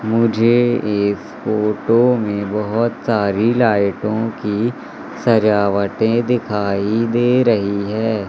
मुझे इस फोटो में बहुत सारी लाइटों की सजावटें दिखाई दे रही है।